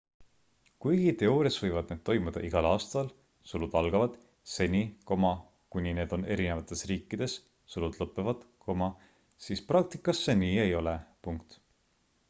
kuigi teoorias võivad need toimuda igal aastal seni kuni need on erinevates riikides siis praktikas see nii ei ole